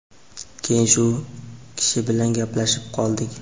Keyin shu kishi bilan gaplashib qoldik.